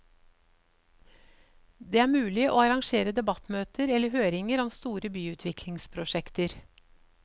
Det er mulig å arrangere debattmøter eller høringer om store byutviklingsprosjekter.